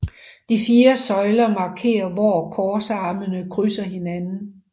De fire søjler markerer hvor korsarmene krydser hinanden